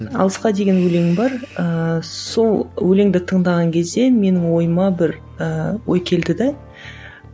алысқа деген өлең бар ыыы сол өлеңді тыңдаған кезде менің ойыма бір ііі ой келді де